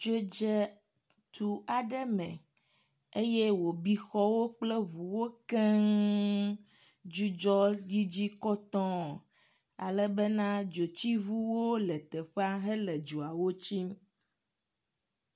Dzo dze du aɖe me eye wòbi xɔwo kple ŋuwo keŋŋŋŋ. Dudzɔ yi dzi kɔtɔŋŋ alebena dzotsiŋuwo le teƒea hele dzoawo tsim.